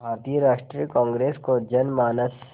भारतीय राष्ट्रीय कांग्रेस को जनमानस